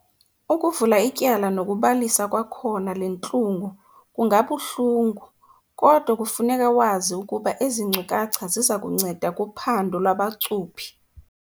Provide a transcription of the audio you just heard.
Ukuvula ityala nokubalisa kwakhona le ntlungu kungabuhlungu, kodwa kufuneka wazi ukuba ezi nkcukacha ziza kunceda kuphando lwabacuphi.